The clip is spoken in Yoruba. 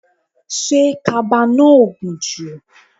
Ṣé kaba náà ò gùn jù?